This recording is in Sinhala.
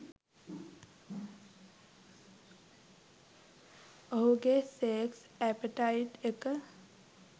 ඔහුගෙ සෙක්ස් ඇපිටයිට් එක